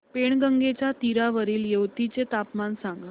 पैनगंगेच्या तीरावरील येवती चे तापमान सांगा